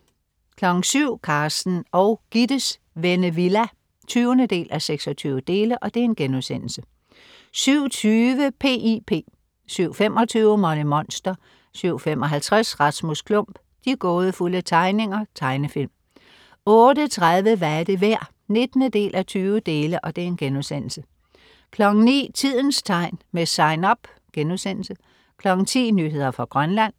07.00 Carsten og Gittes Vennevilla 20:26* 07.20 P.I.P 07.25 Molly Monster 07.55 Rasmus Klump. De gådefulde tegninger. Tegnefilm 08.30 Hvad er det værd? 19:20* 09.00 Tidens tegn, med SIGN UP* 10.00 Nyheder fra Grønland